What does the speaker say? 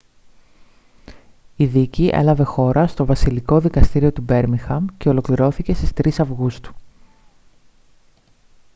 η δίκη έλαβε χώρα στο βασιλικό δικαστήριο του μπέρμιγχαμ και ολοκληρώθηκε στις 3 αυγούστου